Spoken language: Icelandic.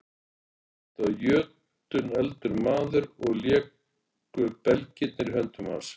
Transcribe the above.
Þetta var jötunefldur maður og léku belgirnir í höndum hans.